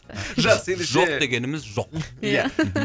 жақсы ендеше жоқ дегеніміз жоқ ия